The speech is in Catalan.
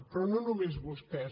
però no només vostès